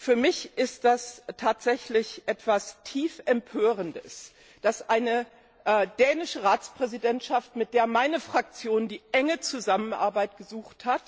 Für mich ist es tatsächlich etwas zutiefst Empörendes, dass eine dänische Ratspräsidentschaft, mit der meine Fraktion die enge Zusammenarbeit gesucht hat,